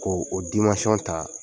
Ko o ta